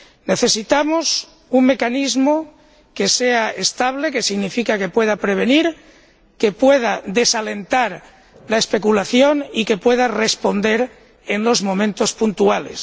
Necesitamos un mecanismo que sea estable, lo que significa que pueda prevenir, que pueda desalentar la especulación y que pueda responder en los momentos puntuales